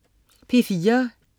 P4: